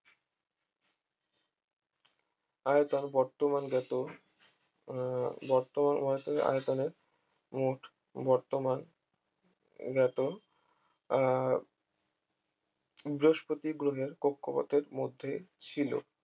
আয়তন বর্তমানজাত আহ বর্তমানজাত আয়তনের মোট বর্তমানজাত আহ বৃহস্পতি গ্রহের কক্ষপথের মধ্যে ছিল